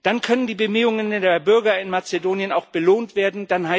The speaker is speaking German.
Dann können die Bemühungen der Bürger in Mazedonien auch belohnt werden.